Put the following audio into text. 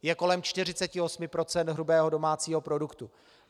Je kolem 48 % hrubého domácího produktu.